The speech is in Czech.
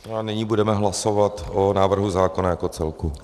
A nyní budeme hlasovat o návrhu zákona jako celku.